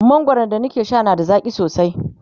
mangwaran da na ke Sha na da zaƙi sosai